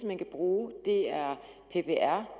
man kan bruge det er ppr